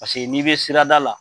Paseke n'i bɛ sirada la.